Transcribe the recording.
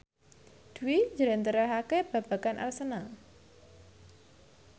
Dwi njlentrehake babagan Arsenal